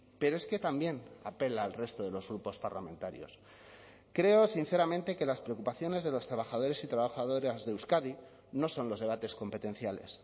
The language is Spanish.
pero es que también apela al resto de los grupos parlamentarios creo sinceramente que las preocupaciones de los trabajadores y trabajadoras de euskadi no son los debates competenciales